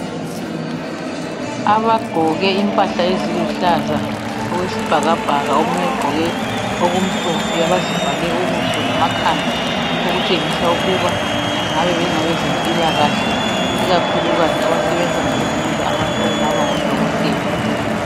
Abagqoke impahla eziluhlaza okwesibhakabhaka omunye ugqoke okumhlophe . Abazivale ubuso lamakhanda okutshengisa ukuba bengabe bengabezempilakahle ikakhulukazi abasebenza ngokuhlinza abantu okubangaba ngo dokotela.